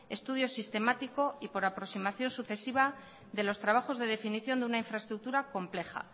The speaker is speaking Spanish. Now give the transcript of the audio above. estudio sistemático y por aproximación sucesiva de los trabajos de definición de una infraestructura compleja